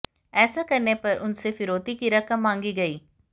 ऐसा करने पर उनसे फिरौती की रकम मांगी गई